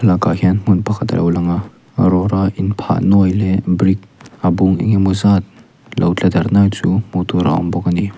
thlalakah hian hmun pakhat a lo lang a rora in phah nuai leh brick a bung engemaw zat lo tla darh nuai chu hmuh tur a awm bawk a ni.